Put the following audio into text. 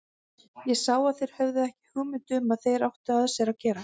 Ég sá að þeir höfðu ekki hugmynd um hvað þeir áttu af sér að gera.